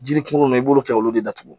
Jiri kungolo i b'olu kɛ olu de datugu